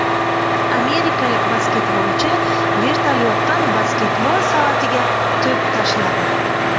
Amerikalik basketbolchi vertolyotdan basketbol savatiga to‘p tashladi .